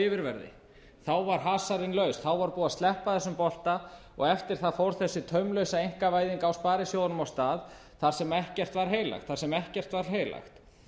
yfirverði varð hasarinn laus var búið að sleppa þessum bolta og eftir það fór þessi taumlausa einkavæðing á sparisjóðunum á stað þar sem ekkert var heilagt þar sem ekkert var heilagt